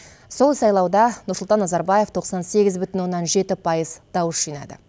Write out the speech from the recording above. сол сайлауда нұрсұлтан назарбаев тоқсан сегіз бүтін оннан жеті пайыз дауыс жинады